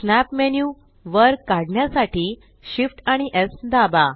snap menu वर काढण्यासाठी Shift आणि स् दाबा